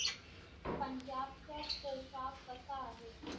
पंजाबचा पोशाख कसा आहे